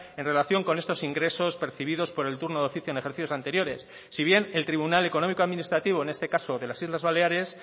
en relación con estos ingresos percibidos por el turno de oficio en ejercicios anteriores si bien el tribunal económico administrativo en este caso de las islas baleares